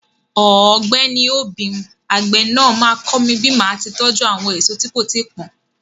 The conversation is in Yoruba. Ọ̀gbẹ́ni obim, àgbè náà máa kọ́ mi bí màá tí tọ́jú àwọn èso tí kò tíì pọ́n.